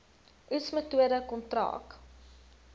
oes metode kontrak